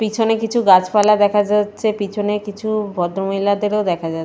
পিছনে কিছু গাছপালা দেখা যাচ্ছে পিছনে কিছু-উ ভদ্রমহিলাদেরও দেখা যা --